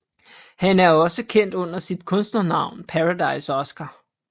Han er også kendt under sit kunstnernavn Paradise Oskar